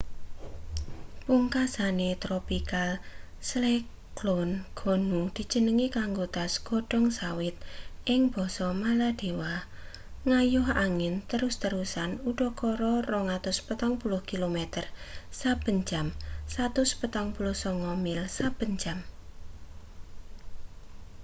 pungkasane tropical cyclone gonu dijenengi kanggo tas godhong sawit ing basa maladewa nggayuh angin terus-terusan udakara 240 kilometer saben jam 149 mil saben jam